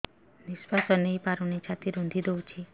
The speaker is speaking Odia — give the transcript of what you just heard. ନିଶ୍ୱାସ ନେଇପାରୁନି ଛାତି ରୁନ୍ଧି ଦଉଛି